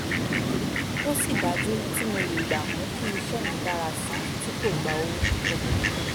tósì dájú tí mo lè gbà mú kí iṣẹ́ mi dára síi tí kò gba owó púpọ̀